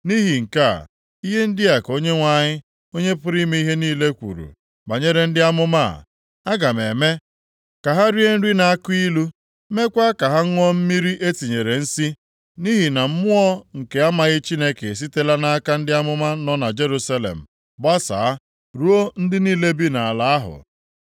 Nʼihi nke a, ihe ndị a ka Onyenwe anyị, Onye pụrụ ime ihe niile kwuru banyere ndị amụma a, “Aga m eme ka ha rie nri na-akụ ilu, meekwa ka ha ṅụọ mmiri e tinyere nsi, nʼihi na mmụọ nke amaghị Chineke esitela nʼaka ndị amụma nọ na Jerusalem gbasaa ruo ndị niile bi nʼala ahụ.”